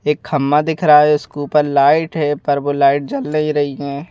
एक खम्मा दिख रहा है उसके ऊपर लाइट है पर वो लाइट जल नहीं रही है।